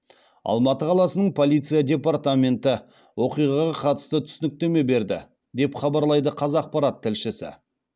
алматы қаласының полиция департаменті оқиғаға қатысты түсініктеме берді деп хабарлайды қазақпарат тілшісі